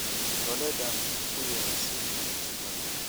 Iidholedhan uyar si dagsi badaan.